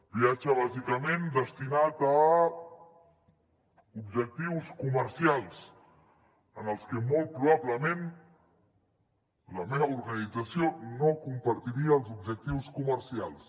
viatge bàsicament destinat a objectius comercials que molt probablement la meva organització no compartiria els objectius comercials